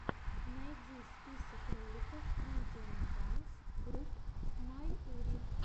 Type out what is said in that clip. найди список роликов индиан данс груп майури